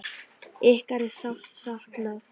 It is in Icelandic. Ykkar er sárt saknað.